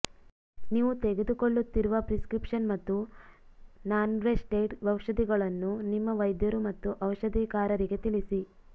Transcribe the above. ನೀವು ತೆಗೆದುಕೊಳ್ಳುತ್ತಿರುವ ಪ್ರಿಸ್ಕ್ರಿಪ್ಷನ್ ಮತ್ತು ನಾನ್ಪ್ರೆಸ್ಟೆಡ್ ಔಷಧಿಗಳನ್ನು ನಿಮ್ಮ ವೈದ್ಯರು ಮತ್ತು ಔಷಧಿಕಾರರಿಗೆ ತಿಳಿಸಿ